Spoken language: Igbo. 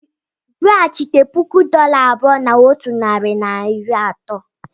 Weghachite puku dollar abụọ na otu narị na iri atọ.